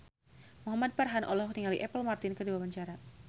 Muhamad Farhan olohok ningali Apple Martin keur diwawancara